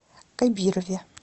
кабирове